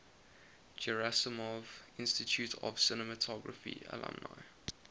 gerasimov institute of cinematography alumni